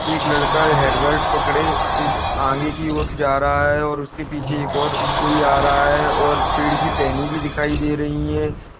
एक लड़का है हेलमेट पकड़े इ आगे की ओर जा रहा है और उसके पीछे एक और कोई आ रहा है और पेड़ की टहनी भी दिखाई दे रही है।